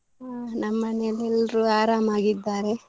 ಹಾ ನಮ್ ಮನೇಲಿ ಎಲ್ರು ಆರಾಮಾಗಿದ್ದಾರೆ.